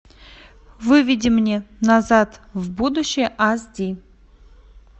выведи мне назад в будущее аш ди